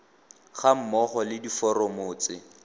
ga mmogo le diforomo tse